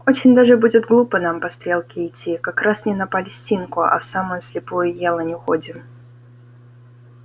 очень даже будет глупо нам по стрелке идти как раз не на палестинку а в самую слепую елань уходим